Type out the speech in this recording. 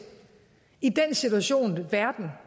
i den situation verden